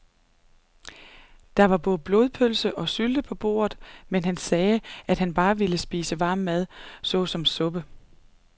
Der var både blodpølse og sylte på bordet, men han sagde, at han bare ville spise varm mad såsom suppe.